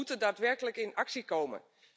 We moeten daadwerkelijk in actie komen.